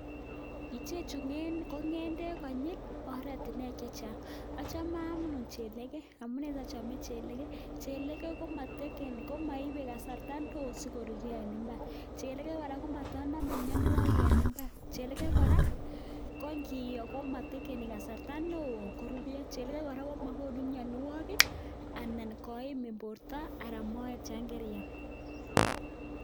Ichechu kong'edek konyil oretunuek chechang achome anee chelege amunee sochome chelegee chelegee komoibe kasarta neoo sikoruryo en mbar chelege kora komotonome mionuokik en mbar chelege kora konkiyoo komotekeni kasarta neoo chelege kora komokonu mionywokik anan koimin borto anan moet yoon keriam.